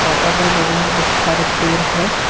और अगल बगल में बहुत सारे पेड़ है।